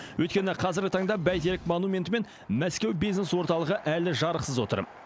өйткені қазіргі таңда бәйтерек монументі мен мәскеу бизнес орталығы әлі жарықсыз отыр